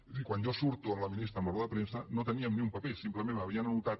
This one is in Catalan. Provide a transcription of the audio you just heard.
és a dir quan jo surto amb la ministra a la roda de premsa no teníem ni un paper simplement m’ho havien anotat